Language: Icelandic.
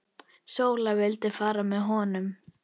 Sóla vildi fara með honum.